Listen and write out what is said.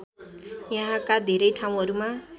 यहाँका धेरै ठाउँहरूमा